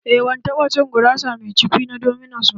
Aa, ban taɓa cin gurasa mai cukwi na dominos ba